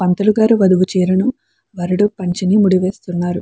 పంతులుగారు వధువు చీరను వరుడు పంచను ముడివేస్తున్నారు.